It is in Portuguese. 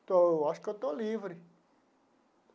Então, eu acho que eu estou livre.